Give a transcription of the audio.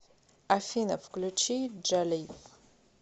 афина включи джалив